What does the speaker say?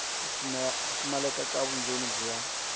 ku pfumaleka ka vundzeni bya